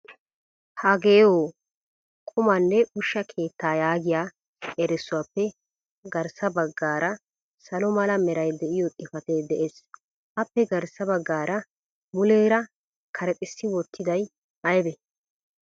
Hagehoo qumanne ushshaa keettaa yaagiyaa erissuwappe garssa baggaara salo mala meray de'iyo xifatee de'ees. Appe garssa baggaa muleera karexxissi wotriday aybbe?